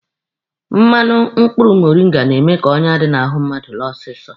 Mmanụ mkpụrụ moringa na-eme ka onyá dị n'ahụ mmadụ laa ọsịsọ.